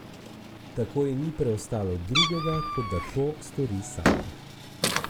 Tako ji ni preostalo drugega, kot da to stori sama.